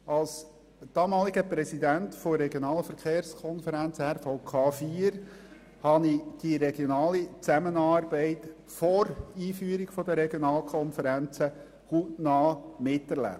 Als damaliger Präsident der Regionalen Verkehrskonferenz RVK 4 habe ich die regionale Zusammenarbeit vor der Einführung der Regionalkonferenzen hautnah miterlebt.